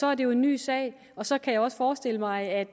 er det jo en ny sag og så kan jeg også forestille mig at